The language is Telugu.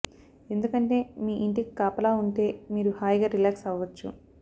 ఎందుకంటే మీ ఇంటికి కాపలా ఉంటే మీరు హాయిగా రిలాక్స్ అవవచ్చు